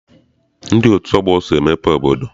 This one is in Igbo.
Ndị otu ọgbọ so emepe obodo.